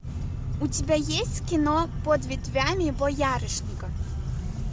у тебя есть кино под ветвями боярышника